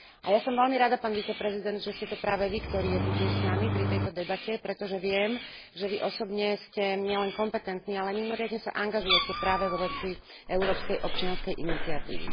A ja som veľmi rada, pán viceprezident, že ste to práve Vy, ktorý je tu dnes s nami pri tejto debate, pretože viem, že Vy osobne ste nielen kompetentný, ale mimoriadne sa angažujete práve vo veci európskej občianskej iniciatívy.